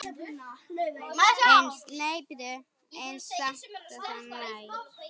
Eins langt og það nær.